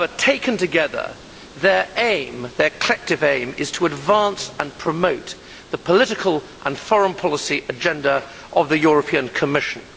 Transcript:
However, taken together, their collective aim is to advance and promote the political and foreign policy agenda of the European Commission.